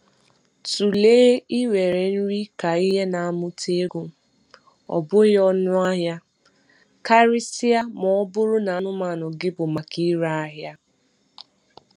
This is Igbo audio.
Tụlee iwere nri ka ihe na-amụta ego, ọ bụghị ọnụ ahịa, karịsịa ma ọ bụrụ na anụmanụ gị bụ maka ire ahịa.